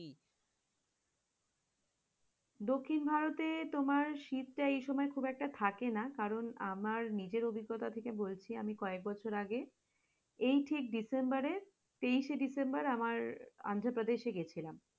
দক্ষিণ ভারতে তোমার শীতটা এইসময় খুব একটা থাকেনা কারণ, আমার নিজের অভিজ্ঞতা থেকে বলছি আমি কয়েক বছর আগে তেইশে december এ তেইশে december এ আমার আন্ধ্রা প্রদেশ এ গিয়েছিলাম,